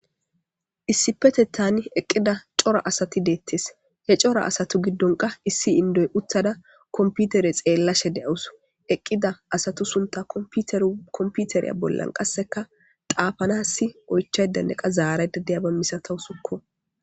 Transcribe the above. Issippeteththan eqida cora asati dettes he coora assatu gidonkka issi indoy utada computer xelashshe de'awus eqida asatu sunththa qas computer bolla qasekka xafanas oyichadanne zarada diyabba milatawus